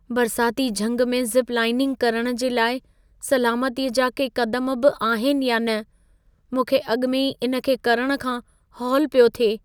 बरसाती झंग में ज़िप-लाइनिंग करण जे लाइ सलामतीअ जा के क़दम बि आहिनि या न? मूंखे अॻि में ई इन खे करण खां हौल पियो थिए।